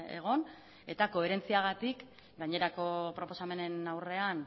egon eta koherentziagatik gainerako proposamenen aurrean